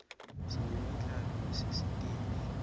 sinemidlalo yasesitesi